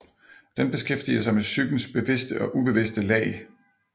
Den beskæftiger sig med psykens bevidste og ubevidste lag